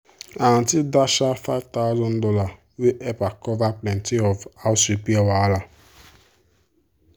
her aunty dash her five thousand dollars wey help cover plenty of the house repair wahala.